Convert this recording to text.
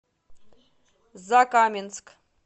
закаменск